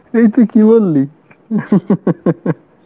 এই তুই কি বললি?